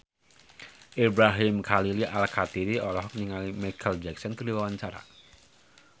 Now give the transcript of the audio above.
Ibrahim Khalil Alkatiri olohok ningali Micheal Jackson keur diwawancara